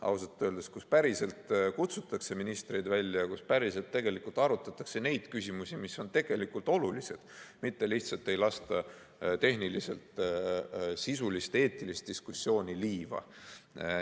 Ausalt öeldes, seal päriselt kutsutakse ministreid välja ja päriselt arutatakse neid küsimusi, mis on tegelikult olulised, mitte lihtsalt ei lasta tehniliselt sisulist ja eetilist diskussiooni liiva.